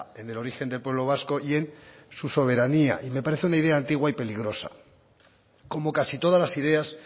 en el origen del pueblo vasco y en su soberanía y me parece una idea antigua y peligrosa como casi todas las ideas